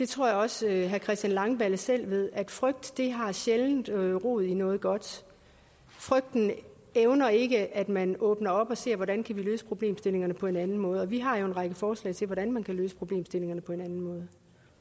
tror jeg også herre christian langballe selv ved at frygt sjældent har rod i noget godt frygten evner ikke at man åbner op og ser hvordan man kan løse problemstillingerne på en anden måde vi har jo en række forslag til hvordan man kan løse problemstillingerne på en anden